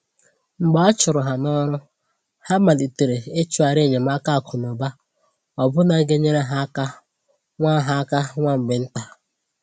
Mgbe a chụrụ ha n’ọrụ, ha malitere i chọghari enyemaka akụ́ na ụ̀ba ọbụna ga enyere ha áká nwa ha áká nwa mgbe ntà.